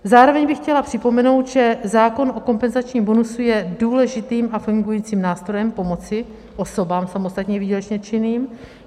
Zároveň bych chtěla připomenout, že zákon o kompenzačním bonusu je důležitým a fungujícím nástrojem pomoci osobám samostatně výdělečně činným.